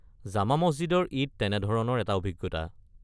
জামা মছজিদৰ ঈদ তেনেধৰণৰ এটা অভিজ্ঞতা।